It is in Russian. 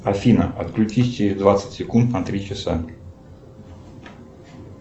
афина отключись через двадцать секунд на три часа